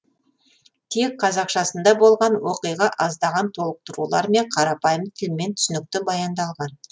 тек қазақшасында болған оқиға аздаған толықтырулармен қарапайым тілмен түсінікті баяндалған